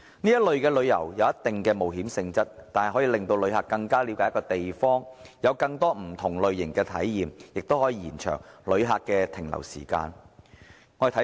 這類旅遊有一定探險性質，但可以令旅客更了解一個地方，有更多不同類型的體驗，也可延長旅客的停留時間。